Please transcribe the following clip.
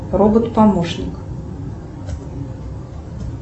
робот помощник